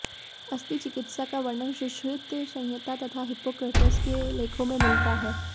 अस्थिचिकित्सा का वर्णन सुश्रुतसंहिता तथा हिप्पोक्रेटस के लेखों में मिलता है